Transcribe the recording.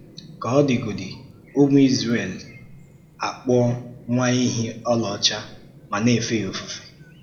Ká ọ dịgódị, ụmụ Izrel akpụọ nwa éhị ọlaọcha ma na-efe ya òfùfé.